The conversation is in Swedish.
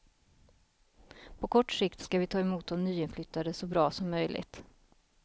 På kort sikt ska vi ta emot de nyinflyttade så bra som möjligt.